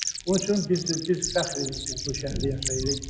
Onun üçün biz fəxr edirik biz bu şəhərdə yaşayırıq.